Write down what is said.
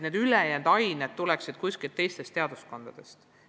Seega tuleksid ülejäänud ained teistest teaduskondadest.